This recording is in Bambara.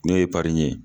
N'o ye ye